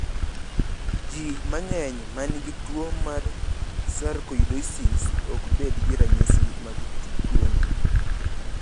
Ji mang’eny ma nigi tuwo mar sarkoidosis ok bed gi ranyisi mag tuwono.